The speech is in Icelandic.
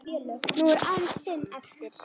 Nú eru aðeins fimm eftir.